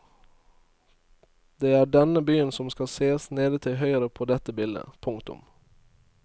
Det er denne byen som kan sees nede til høyre på dette bildet. punktum